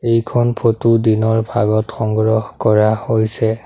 ইখন ফটো দিনৰ ভাগত সংগ্ৰহ কৰা হৈছে।